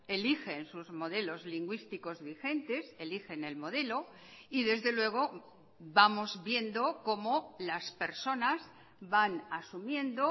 eligen sus modelos lingüísticos vigentes eligen el modelo y desde luego vamos viendo como las personas van asumiendo